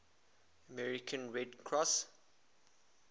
american red cross